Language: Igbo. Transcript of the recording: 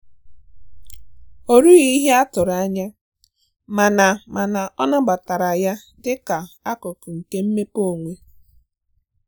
O rughi ihe a tụrụ anya mana mana ọ nabatara ya dị ka akụkụ nke mmepe onwe